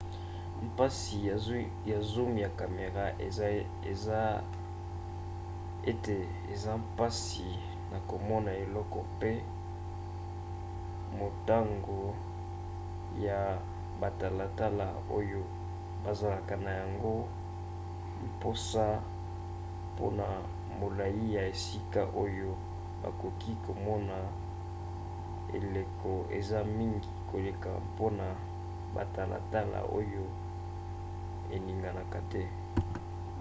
mpasi ya zoom ya camera eza ete eza mpasi na komona eloko pe motango ya batalatala oyo bazalaka na yango mposa mpona molai ya esika oyo bakoki komona eleko eza mingi koleka mpona batalatala oyo eninganaka te